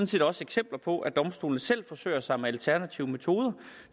set også eksempler på at domstolene selv forsøger sig med alternative metoder